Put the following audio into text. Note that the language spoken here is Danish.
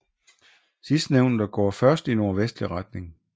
Sidstnævnte går først i nordvestlig retning